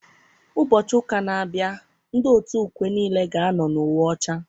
Ụbọchị ụka na-abịa, ndị otu ukwe niile ga-ano n' uwe ọcha.